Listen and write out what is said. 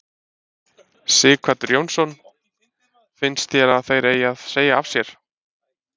Sighvatur Jónsson: Finnst þér að þeir eigi að segja af sér?